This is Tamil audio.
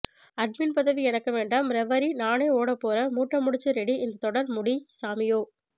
அட்மின் பதவி எனக்கு வேண்டாம் ரெவெரி நானே ஓடப்போறன் மூட்டை முடிச்சு ரெடி இந்த தொடர் முடிய்ய்ய்ய்ய்ய்ய் சாமியோஓஓஓ